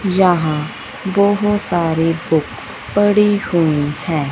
जहां बहोत सारी बुक्स पड़ी हुई हैं।